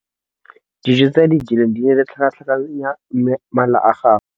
Dijô tse a di jeleng di ne di tlhakatlhakanya mala a gagwe.